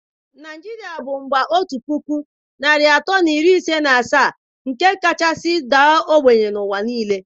Naijiria bụ mba otu puku narị atọ na iri ise na asaa nke kachasị daa ogbenye n'ụwa niile.